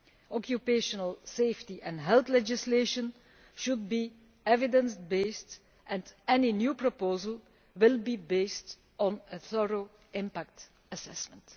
Occupational safety and health legislation should be evidence based, and any new proposal will be based on a thorough impact assessment.